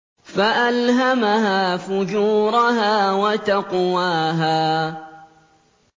فَأَلْهَمَهَا فُجُورَهَا وَتَقْوَاهَا